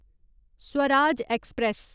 Swaraj express